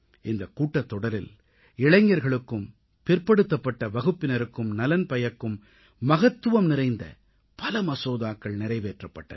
இந்தக் கூட்டத்தொடரில் இளைஞர்களுக்கும் பிற்படுத்தப்பட்ட வகுப்பினருக்கும் நலன் பயக்கும் மகத்துவம் நிறைந்த பல மசோதாக்கள் நிறைவேற்றப்பட்டன